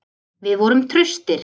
Við vorum traustir.